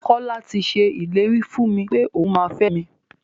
Kọ́la ti ṣe ìlérí fún mi pẹ́ òun máa fẹ mi.